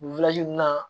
Nin na